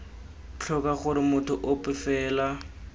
tlhoka gore motho ope fela